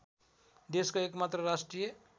देशको एकमात्र राष्ट्रिय